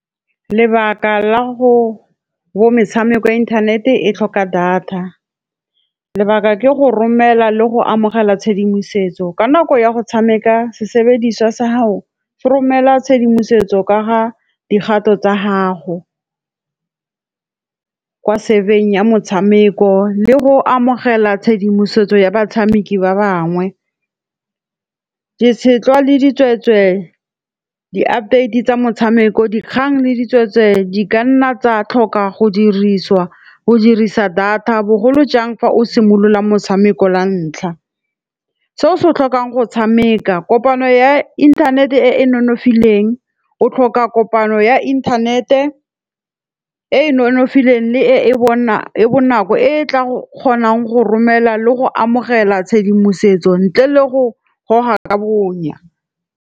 Lebaka la bo metshameko ya inthanete e tlhoka data, lebaka ke go romela le go amogela tshedimosetso ka nako ya go tshameka, sebediswa sa ho se romela tshedimosetso ka dikgato tsa gago. Kwa ya motshameko le go amogela tshedimosetso ya batshameki ba bangwe. Ditshetlwa le di tsweetswe, di updates tsa motshameko dikgang le di tsweetswe. Di kanna tsa tlhoka go dirisiwa go dirisa data bogolo jang fa o simolola motshameko la ntlha. Se o se tlhokang go tshameka kopano ya internet e e nonofileng, o tlhoka kopano ya inthanete e nonofileng le e bona ya bonako, e tla kgonang go romela le go amogela tshedimosetso ntle le go goga ka bonya.